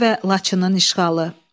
Şuşa və Laçının işğalı.